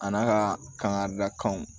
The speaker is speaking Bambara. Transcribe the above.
A n'a ka kanga dakanw